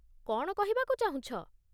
କ'ଣ କହିବାକୁ ଚାହୁଁଛ ?